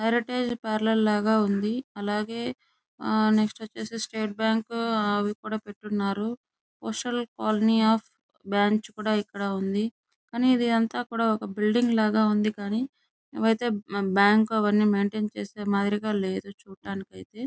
అడ్వేర్టీస్ parlour లాగా ఉంది అలాగే నెక్స్ట్ వచ్చేసి స్టేట్ బ్యాంకు అవికూడా పెట్టిఉన్నారు సోషల్ కాలనీ అఫ్ బ్రాంచ్ కూడా ఇక్కడ ఉంది కానీ ఇదంతా కూడా ఒక బిల్డింగ్ లాగా ఉంది కానీ ఇవన్నీ ఇదైతే బ్యాంకు మైంటైన్ చేసే మాదిరిగా లేదు చూడ్డానికి ఐతే --